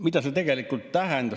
Mida see tegelikult tähendab?